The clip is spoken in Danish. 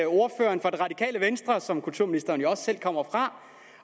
ordføreren fra det radikale venstre som kulturministeren jo også selv kommer fra